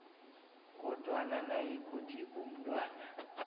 kodwana nayikuthi umntwana